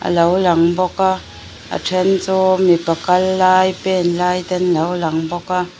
a lo lang bawk a a then chu mipa kal lai pen lai ten lo lang bawk a.